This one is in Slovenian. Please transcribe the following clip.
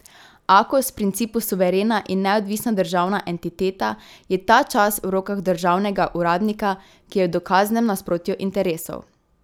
Akos, v principu suverena in neodvisna državna entiteta, je ta čas v rokah državnega uradnika, ki je v dokaznem nasprotju interesov.